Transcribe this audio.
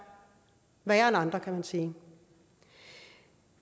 værre end andre kan man sige